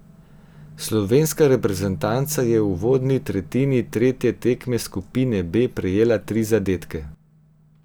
Slovenska reprezentanca je v uvodni tretjini tretje tekme skupine B prejela tri zadetke.